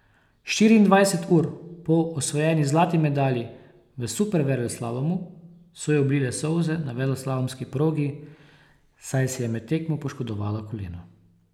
Štiriindvajset ur po osvojeni zlati medalji v superveleslalomu so jo oblile solze na veleslalomski progi, saj si je med tekmo poškodovala koleno.